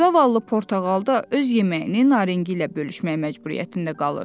Zavallı Portağal da öz yeməyini Naringi ilə bölüşməyə məcburiyyətində qalırdı.